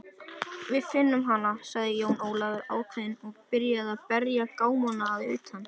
Við finnum hana, sagði Jón Ólafur ákveðinn og byrjaði að berja gámana að utan.